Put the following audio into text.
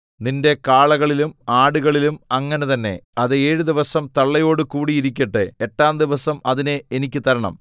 നിന്റെ കാളകളിലും ആടുകളിലും അങ്ങനെ തന്നെ അത് ഏഴ് ദിവസം തള്ളയോട് കൂടി ഇരിക്കട്ടെ എട്ടാം ദിവസം അതിനെ എനിക്ക് തരണം